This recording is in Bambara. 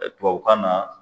Ɛɛ Tubabu kan na